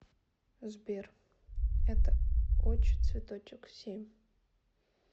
сбер эта очь цветочек семь